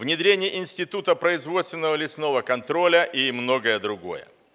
внедрение института производственного лесного контроля и многое другое